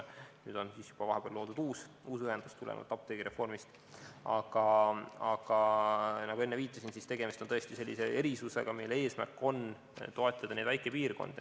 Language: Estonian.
Nüüd on vahepeal loodud juba uus ühendus, tulenevalt apteegireformist, aga nagu ma enne viitasin, on tegemist tõesti sellise erisusega, mille eesmärk on toetada neid väikepiirkondi.